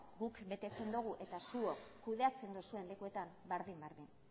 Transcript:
guk betetzen dugu eta zuok agintzen duzuen lekuetan berdin berdin